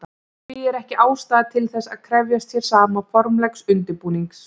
Því er ekki ástæða til þess að krefjast hér sama formlegs undirbúnings.